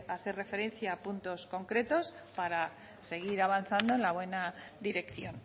hace referencia a puntos concretos para seguir avanzando en la buena dirección